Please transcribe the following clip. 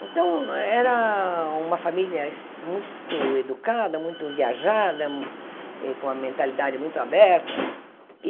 Então, era uma família es muito educada, muito viajada, eh com uma mentalidade muito aberta.